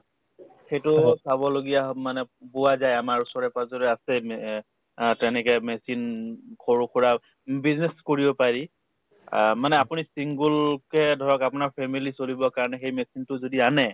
সেইটোও চাবলগীয়া হয় মানে পোৱা যায় আমাৰ ওচৰে-পাজৰে আছে may অ তেনেকে machine সৰুসুৰা business কৰিব পাৰি অহ্ মানে আপুনি single কে ধৰক আপোনাৰ family চলিবৰ কাৰণে সেই machine তো যদি আনে